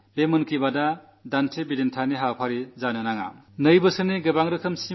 ഈ മൻ കീ ബാത് രാജനൈതികമായ പിടിവലികളുടെയും ആരോപണപ്രത്യാരോപണങ്ങളുടെ പരിപാടിയും ആകരുത്